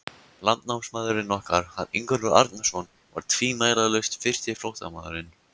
Landnámsmaðurinn okkar, hann Ingólfur Arnarson, var tvímælalaust fyrsti flóttamaðurinn.